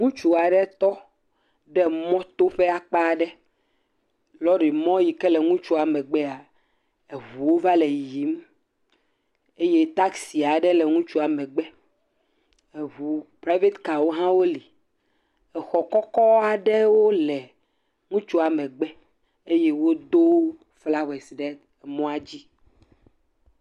ŋutsu aɖe tɔ ɖe mɔto ƒe akpa ɖe lɔri mɔ yike le ŋutsua megbea eʋuwo va le yiyim eye taxi aɖe le ŋutsua megbe eʋu private carwo hõ woli xɔ kɔkɔ aɖewo le ŋutsua megbe eye wodó flawɛs ɖe mɔa dzi